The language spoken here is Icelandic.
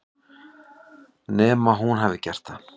Nema hún hafi gert það.